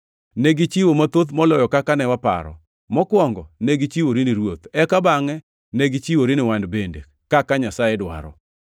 Negichiwo mathoth moloyo kaka ne waparo! Mokwongo negichiwore ni Ruoth; eka bangʼe gichiwore ni wan bende, kaka Nyasaye dwaro.